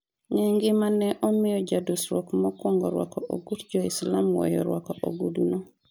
ng'e gima ne omiyo jadusruok mokuongo rwako ogut jo-Islam weyo rwako ogudu no